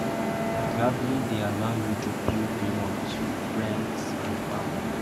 Traveling dey allow you to build memories with friends and family.